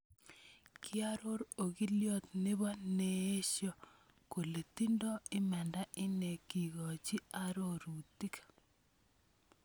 Kiaroor okilyot nebo neesyo kole tindo imaanda ine kikochi arorutik